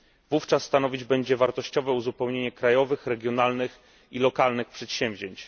Wówczas stanowić on będzie wartościowe uzupełnienie krajowych, regionalnych i lokalnych przedsięwzięć.